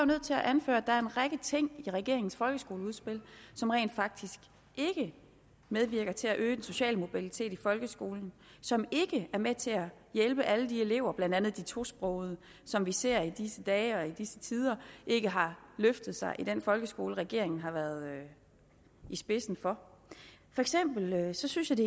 nødt til at anføre at der er en række ting i regeringens folkeskoleudspil som rent faktisk ikke medvirker til at øge den sociale mobilitet i folkeskolen som ikke er med til at hjælpe alle de elever blandt andet de tosprogede som vi ser i disse dage og i disse tider ikke har løftet sig i den folkeskole som regeringen har været i spidsen for jeg synes